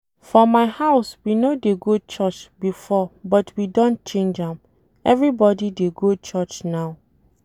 For my house we no dey go church before but we don change am. Everybody dey go church now